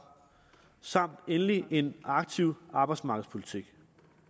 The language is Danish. samt endelig en aktiv arbejdsmarkedspolitik